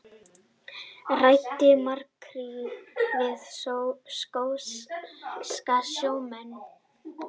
Ræddi makríl við skoska sjómenn